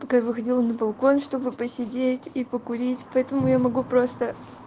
пока я выходила на балкон чтобы посидеть и покурить поэтому я могу просто